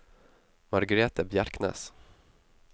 Margrethe Bjerknes